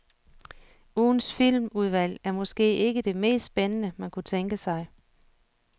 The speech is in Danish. Ugens filmudvalg er måske ikke det mest spændende, man kunne tænke sig.